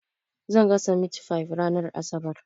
Zan gasa mitifayif ranar asabar.